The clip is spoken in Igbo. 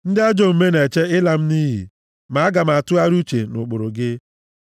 Ndị ajọ omume na-eche ịla m nʼiyi, ma aga m atụgharị uche nʼụkpụrụ gị.